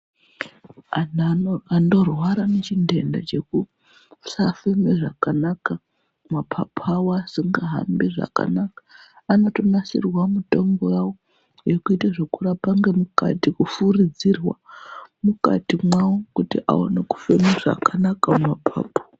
Antu anorwara nechintenda chekusafema zvakanaka mapapu awo asingahambi zvakanaka anotonasirirwa mutombo yawo yokuita zvekurapa ngemukati kufurudzirwa mukati mwawo kuti awone kufema zvakanaka mumapapu.